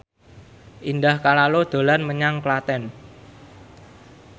Indah Kalalo dolan menyang Klaten